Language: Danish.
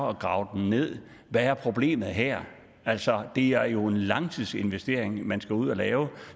at grave den ned hvad er problemet her altså det er jo en langtidsinvestering man skal ud at lave